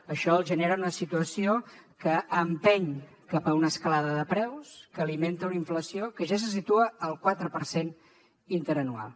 això els genera una situació que empeny cap a una escalada de preus que alimenta una inflació que ja se situa al quatre per cent interanual